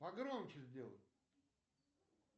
погромче сделай